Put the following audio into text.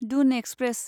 Doon express